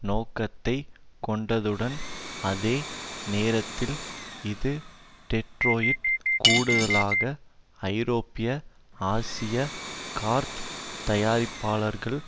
நோக்கத்தை கொண்டதுடன் அதே நேரத்தில் இது டெட்ரோயிட் கூடுதலாக ஐரோப்பிய ஆசிய கார்த் தயாரிப்பாளர்களுக்கு